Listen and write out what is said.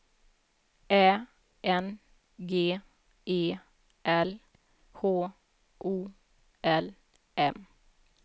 Ä N G E L H O L M